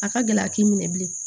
A ka gɛlɛ a k'i minɛ bilen